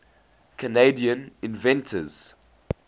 canadian inventors